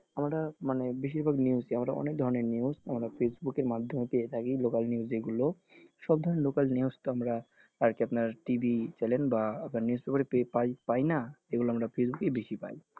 আমরা মানে বেশিরভাগ news ই আমরা মানে আমরা অনেক news আমরা facebook এর মাধ্যমে পেয়ে থাকি local news যেগুলো সব ধরনের local news তো আমরা আপনার TV channel বা আপনার news paper এ পাপাইনা? এগুলো আমরা facebook এ বেশি পাই।